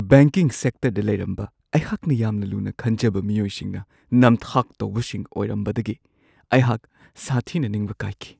Banking ꯁꯦꯛꯇꯔꯗ ꯂꯩꯔꯝꯕ ꯑꯩꯍꯥꯛꯅ ꯌꯥꯝꯅ ꯂꯨꯅ ꯈꯟꯖꯕ ꯃꯤꯑꯣꯏꯁꯤꯡꯅ ꯅꯝꯊꯥꯛ ꯇꯧꯕꯁꯤꯡ ꯑꯣꯏꯔꯝꯕꯗꯒꯤ ꯑꯩꯍꯥꯛ ꯁꯥꯊꯤꯅ ꯅꯤꯡꯕ ꯀꯥꯏꯈꯤ ꯫